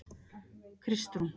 Kristrún